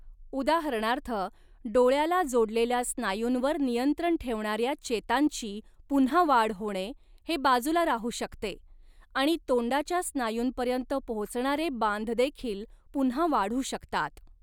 उदाहरणार्थ, डोळ्याला जोडलेल्या स्नायूंवर नियंत्रण ठेवणाऱ्या चेतांची पुन्हा वाढ होणे हे बाजूला राहू शकते आणि तोंडाच्या स्नायूंपर्यंत पोहोचणारे बांधदेखील पुन्हा वाढू शकतात.